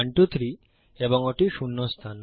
123 এবং ওটি শূন্য স্থান